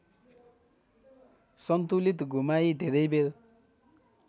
सन्तुलित घुमाइ धेरैबेर